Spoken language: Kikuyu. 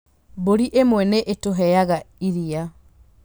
Mbũri imwe nĩ itũheaga iria.